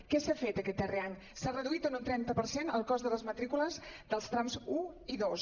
què s’ha fet aquest darrer any s’ha reduït en un trenta per cent el cost de les matrí·cules dels trams un i dos